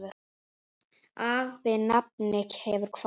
Afi nafni hefur kvatt.